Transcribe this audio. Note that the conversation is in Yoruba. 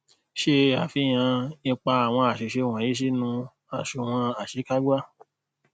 se afihan ipa awon asise wonyi sinu asunwon asekagba